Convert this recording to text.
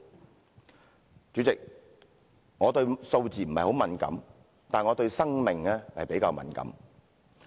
代理主席，我對數字並不太敏感，但我對生命比較敏感。